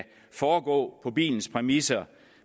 foregå på bilens præmisser